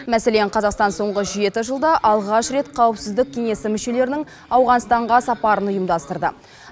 мәселен қазақстан соңғы жеті жылда алғаш рет қауіпсіздік кеңесі мүшелерінің ауғанстанға сапарын ұйымдастырды